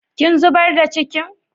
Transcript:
Kin zubar da cikin?